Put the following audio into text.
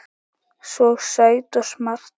Svo sæt og smart.